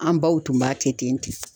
An baw tun b'a kɛ ten ten.